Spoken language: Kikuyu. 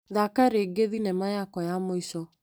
Thaka rĩngĩ thinema yakwa ya mũico .